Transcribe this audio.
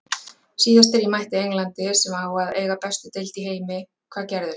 Síðast þegar ég mætti Englandi, sem á að eiga bestu deild í heimi- hvað gerðist?